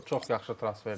Çox yaxşı transferdir.